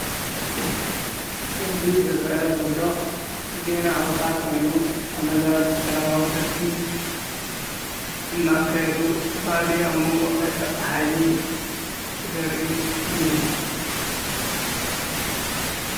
እዚ ዝርአ ዘሎ ዜና ኣውታር ኮይኑ ተመዛበልቲ ሰላማዊ ሰልፊ እናካዱ ዝተፈላለዩ ኣብ መንጎኦም ናይ ጸትታ ሓይሊ ዘርኢ እዩ።